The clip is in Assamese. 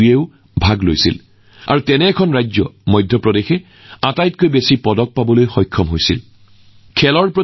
ইয়াত প্ৰতিজন প্ৰতিযোগীয়ে নিজৰ প্ৰতিভা প্ৰদৰ্শন কৰাৰ যথেষ্ট সুযোগ পাইছিল আৰু আপুনি জানি আচৰিত হব যে এই প্ৰতিযোগিতাখনত বহু খেলুৱৈ এনে ৰাজ্যৰ পৰা আহিছিল যিবোৰৰ সাগৰৰ সৈতে কোনো সম্পৰ্ক নাই